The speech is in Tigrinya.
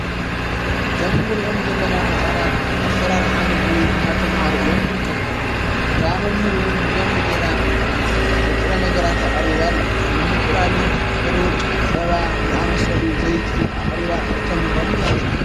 እዘምንር እኦም ዘለና ሕፃናት ዓብሠራር ኃምግቢ እናተምሃሩ እዮም ድርከም እታ መምህርውን ብደምቢ ገይራ ንጥረ ነገራት ኣቐሪባ ኣላ ከም እንንቊላሌ ሄሩጭ ጸባ ዝኣመሰሉ ዘይቲ ኣቕሪባ እተምህሮም እያ ዘላ።